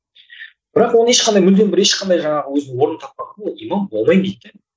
бірақ оны ешқандай мүлдем бір ешқандай жаңағы өзін орын таппаған да имам болмаймын дейді де